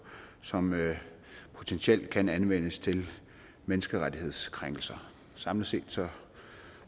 som potentielt kan anvendes til menneskerettighedskrænkelser samlet set